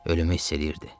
Ölümü hiss eləyirdi.